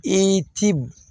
I ti